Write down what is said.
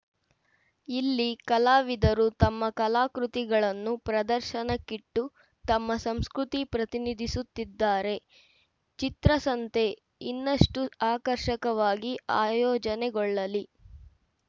ಇಲ್ಲಿ ಕಲಾವಿದರು ತಮ್ಮ ಕಲಾಕೃತಿಗಳನ್ನು ಪ್ರದರ್ಶನಕ್ಕಿಟ್ಟು ತಮ್ಮ ಸಂಸ್ಕೃತಿ ಪ್ರತಿನಿಧಿಸುತ್ತಿದ್ದಾರೆ ಚಿತ್ರಸಂತೆ ಇನ್ನಷ್ಟುಆಕರ್ಷಕವಾಗಿ ಆಯೋಜನೆಗೊಳ್ಳಲಿ